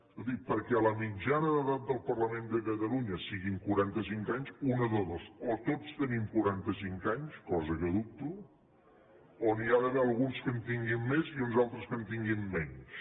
escolti perquè la mitjana d’edat del parlament de catalunya siguin quaranta cinc anys una de dues o tots tenim quaranta cinc anys cosa que dubto o n’hi ha d’haver alguns que en tinguin més i uns altres que en tinguin menys